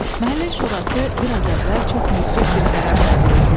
Məhəllə şurası bir az əvvəl çox müdrik bir qərar qəbul etmişdi.